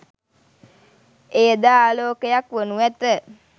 එය ද ආලෝකයක් වනු ඇත.